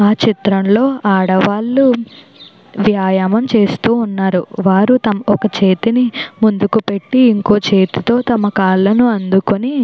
ఆ చిత్రంలో అదవాళ్ళు వ్యాయామం చేస్తూ ఉన్నారు వారు తంపక చేతిని ముందుకు పెట్టి ఇంకోక చేతితో వాళ్ళ కాలను అందుకొని.